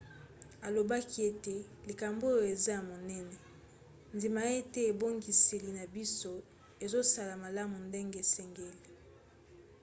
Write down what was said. alobaki ete likambo oyo eza ya monene. ndima ete ebongiseli na biso ezosala malamu ndenge esengeli.